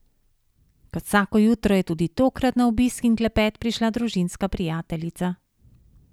Kot vsako jutro je tudi tokrat na obisk in klepet prišla družinska prijateljica.